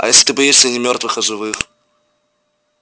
а если ты боишься не мёртвых а живых